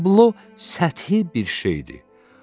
Tablo səthi bir şeydir.